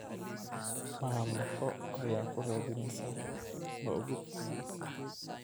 Mamako ayaa ku raadinaysa, ma ogid?